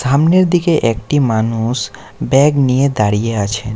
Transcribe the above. সামনের দিকে একটি মানুষ ব্যাগ নিয়ে দাঁড়িয়ে আছেন।